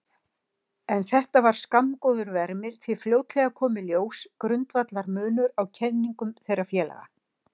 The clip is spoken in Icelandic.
En þetta var skammgóður vermir því fljótlega kom í ljós grundvallarmunur á kenningum þeirra félaga.